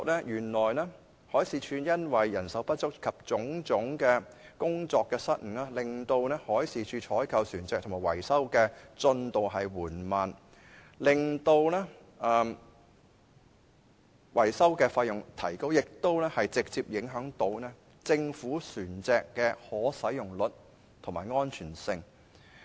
原來海事處因為人手不足及種種工作失誤，而令採購及維修船隻的進度緩慢，並令維修費用增加，更直接影響政府船隻的可使用率及安全性。